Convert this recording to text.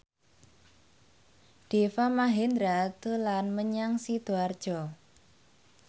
Deva Mahendra dolan menyang Sidoarjo